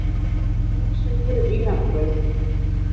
Hún segir: Vínarbrauð.